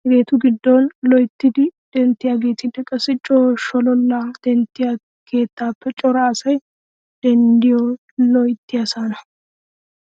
Hegeetu giddon loyttidi denttiyaageetinne qassi coo sholollaa denttiya keettaappe cora asay denddiyoy loyttiyaasaana.